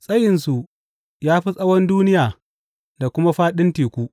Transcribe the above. Tsayinsu ya fi tsawon duniya da kuma fāɗin teku.